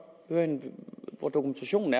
høre hvor dokumentationen